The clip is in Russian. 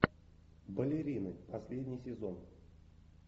балерины последний сезон